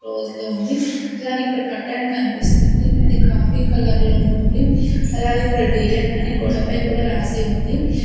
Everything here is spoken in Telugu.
క్లోజ్ లో ఉంది అలాగే ఇక్కడ కర్టెన్ కనిపిస్తుంది అది కాఫీ కలర్లో ఉంది అలాగే ఇక్కడ డి ఎన్ అని గోడపై కూడా రాసి ఉంది.